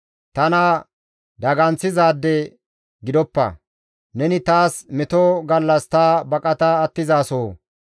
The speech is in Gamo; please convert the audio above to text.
Tana daganththizaade gidoppa; neni taas meto gallas ta baqata attizasoho.